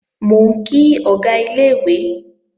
Mò ń kí Ọ̀gá ilé-ìwé